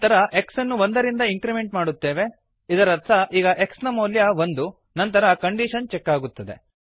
ನಂತರ x ಅನ್ನು ಒಂದರಿಂದ ಇಂಕ್ರಿಮೆಂಟ್ ಮಾಡುತ್ತೇವೆ ಇದರರ್ಥ ಈಗ x ನ ಮೌಲ್ಯ ಒಂದು ನಂತರ ಕಂಡೀಶನ್ ಚೆಕ್ ಆಗುತ್ತದೆ